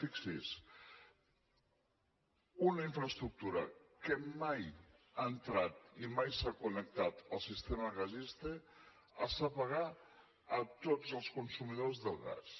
fixi’s una infraestructura que mai ha entrat i mai s’ha connectat al sistema gasístic es fa pagar a tots els consumidors del gas